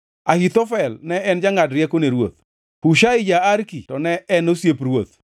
Ahithofel ne en jangʼad rieko ne ruoth. Hushai ja-Arki to ne en osiep ruoth.